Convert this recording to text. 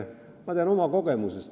Ma tean oma kogemusest.